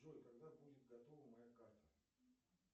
джой когда будет готова моя карта